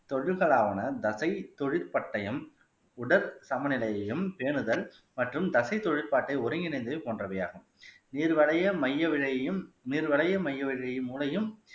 தொழில்களான தசை தொழில் பட்டயம் உடல் சம நிலையையும் பேணுதல் மற்றும் தசை தொழில்பாட்டை ஒருங்கிணைந்தது போன்றவை ஆகும் நீர் வளைய மைய விலையையும் நீர் வளைய மைய மூளையும்